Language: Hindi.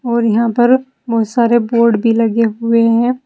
और यहां पर बहोत सारे बोर्ड भी लगे हुए हैं।